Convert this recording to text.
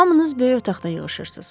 Hamınız böyük otaqda yığışırsız.